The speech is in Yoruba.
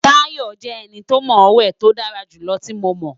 Tayo jẹ eni to mo we ti o dara julọ ti Mo mọ